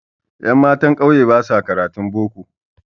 Ƴammatan ƙauye basa karatun boko